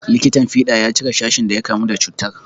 Likitan fiɗa ya cire sashin da ya kamu da cutar.